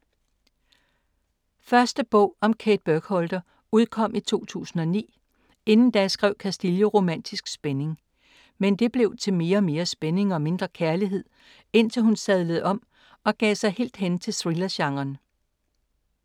Første bog om Kate Burkholder udkom i 2009, inden da skrev Castillo romantisk spænding. Men det blev til mere og mere spænding og mindre kærlighed, indtil hun sadlede om og gav sig helt hen til thriller-genren.